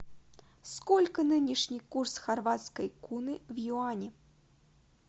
сколько нынешний курс хорватской куны в юани